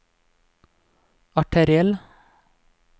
arteriell